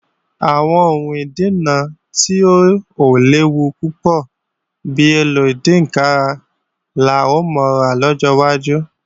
Àwọn ohun ìdáná tí ò léwu púpọ̀ bi èlò ìdínkàrà la ó máa lò lọ́jọ́ wájú